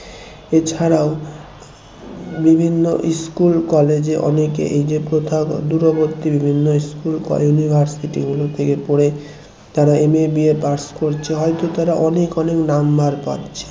এছাড়াও বিভিন্ন school college এ অনেকে এই যে প্রথা দূরবর্তী বিভিন্ন school college university গুলো থেকে পড়ে তারা MABApass করছে হয়তো তারা অনেক অনেক number পাচ্ছে